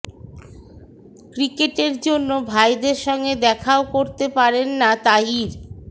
ক্রিকেটের জন্য ভাইদের সঙ্গে দেখাও করতে পারেন না তাহির